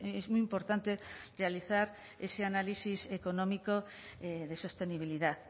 es muy importante realizar ese análisis económico de sostenibilidad